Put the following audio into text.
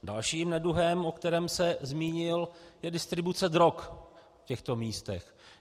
Dalším neduhem, o kterém se zmínil, je distribuce drog v těchto místech.